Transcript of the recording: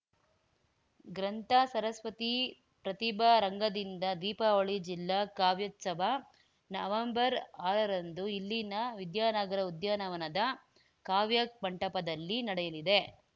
ಗ್ರಂಥ ಸರಸ್ವತಿ ಪ್ರತಿಭಾ ರಂಗದಿಂದ ದೀಪಾವಳಿ ಜಿಲ್ಲಾ ಕಾವ್ಯೋತ್ಸವ ನವಂಬರ್ಆರರಂದು ಇಲ್ಲಿನ ವಿದ್ಯಾನಗರ ಉದ್ಯಾನವನದ ಕಾವ್ಯ ಮಂಟಪದಲ್ಲಿ ನಡೆಯಲಿದೆ